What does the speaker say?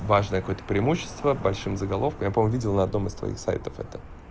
важное какое-то преимущество большим заголовка я помню видел на одном из твоих сайтов это